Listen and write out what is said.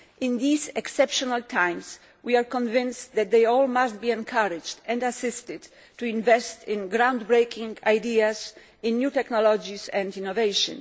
In these exceptional times, we are convinced that they must all be encouraged and assisted to invest in ground breaking ideas, in new technologies and in innovation.